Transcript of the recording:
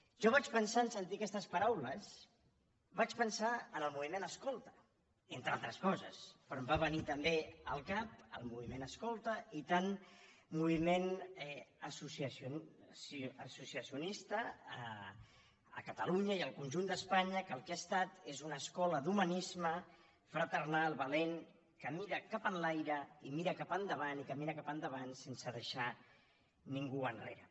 jo vaig pensar en sentir aquestes paraules en el moviment escolta entre altres coses però em va venir també al cap el moviment escolta i tant moviment associacionista a catalunya i al conjunt d’espanya que el que ha estat és una escola d’humanisme fraternal valent que mira cap enlaire i que mira cap endavant i que mira cap endavant sense deixar ningú enrere